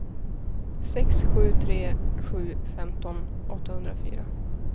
sex sju tre sju femton åttahundrafyra